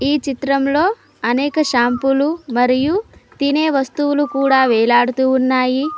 ఈ చిత్రంలో అనేక షాంపూ లు మరియు తినే వస్తువులు కూడా వేలాడుతూ ఉన్నాయి.